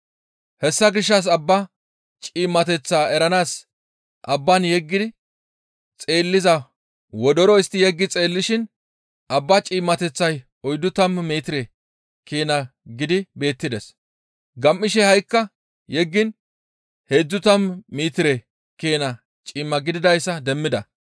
Hessa gishshas abbaa ciimmateth eranaas abbaan yeggi xeelliza wodoro istti yeggi xeellishin abbaa ciimmateththi oyddu tammu metire keena gidi beettides; gam7ishe ha7ikka yeggiin heedzdzu tammu metire keena ciimma gididayssa demmida.